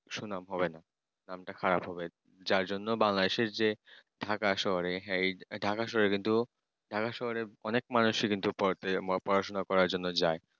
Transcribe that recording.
সুনাম হবে না নামটা খারাপ হবে যার জন্য Bangladesh র যে ঢাকা শহরেই ঢাকা শহরে কিন্তু Dhaka শহরের অনেক মানসী কিন্তু পড়াশুনা করার জন্য যায়